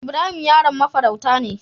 Ibrahim yaron mafarauta ne.